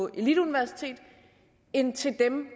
eliteuniversitet end til dem